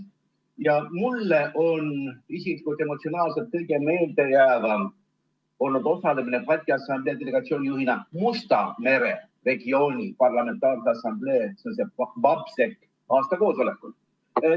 Ja mulle on isiklikult emotsionaalselt kõige meeldejäävam olnud osalemine Balti Assamblee delegatsiooni juhina Musta mere regiooni parlamentaarse assamblee aastakoosolekul.